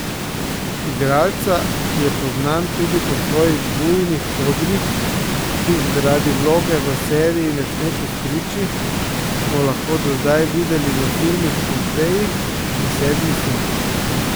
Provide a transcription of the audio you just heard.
Igralca, ki je poznan tudi po svojih bujnih kodrih, ki jih zaradi vloge v seriji ne sme postriči, smo lahko do zdaj videli v filmih Pompeji in Sedmi sin.